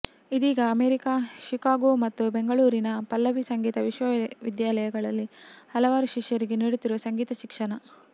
ಇದೀಗ America Chicago ಮತ್ತು ಬೆಂಗಳೂರಿನ ಪಲ್ಲವಿ ಸಂಗೀತ ವಿದ್ಯಾಲಯಗಳಲ್ಲಿ ಹಲವಾರು ಶಿಷ್ಯರಿಗೆ ನೀಡುತ್ತಿರುವ ಸಂಗೀತ ಶಿಕ್ಷಣ